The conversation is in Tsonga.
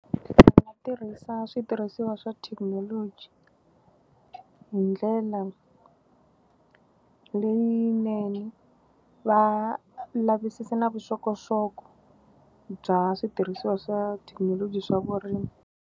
Va tirhisa switirhisiwa swa thekinoloji hi ndlela leyinene. Va lavisisa na vuxokoxoko bya switirhisiwa swa thekinoloji swa vurimi.